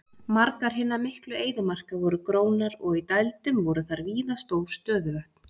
Margar hinna miklu eyðimarka voru grónar og í dældum voru þar víða stór stöðuvötn.